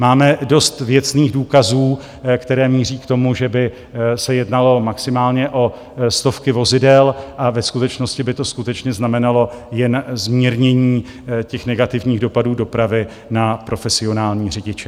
Máme dost věcných důkazů, které míří k tomu, že by se jednalo maximálně o stovky vozidel, a ve skutečnosti by to skutečně znamenalo jen zmírnění těch negativních dopadů dopravy na profesionální řidiče.